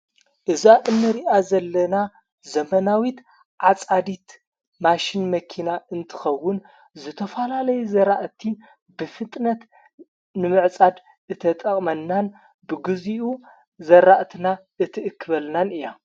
እዛ እነ ሪኣ ዘለና ዘመናዊት ዓፃዲት ማሽን መኪና እንትኸውን ዝተፋላለዩ ዘራእቲ ብፍጥነት ንምዕጻድ እተጠቕመናን ብግዜኡ ዘራእትና እትእክበልናን እያ።